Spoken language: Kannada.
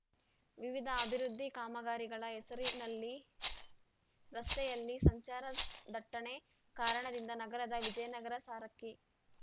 ವಿವಿಧ ಅಭಿವೃದ್ಧಿ ಕಾಮಗಾರಿಗಳ ಹೆಸರಿನಲ್ಲಿ ರಸ್ತೆಯಲ್ಲಿ ಸಂಚಾರ ದಟ್ಟಣೆ ಕಾರಣದಿಂದ ನಗರದ ವಿಜಯನಗರ ಸಾರಕ್ಕಿ